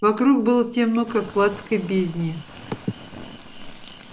вокруг было темно как в адской бездне